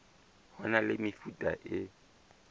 ho na le mefuta e